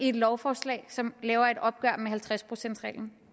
et lovforslag som laver et opgør med halvtreds procentsreglen